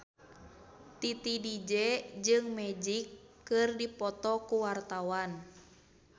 Titi DJ jeung Magic keur dipoto ku wartawan